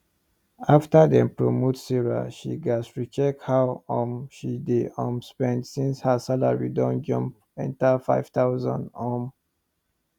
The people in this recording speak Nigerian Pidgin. after dem promote sarah she gats recheck how um she dey um spend since her salary don jump enter 5000 um